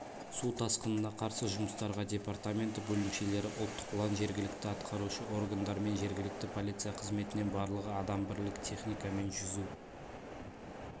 су тасқынына қарсы жұмыстарға департаменті бөлімшелері ұлттық ұлан жергілікті атқарушы органдар мен жергілікті полиция қызметінен барлығы адам бірлік техника мен жүзу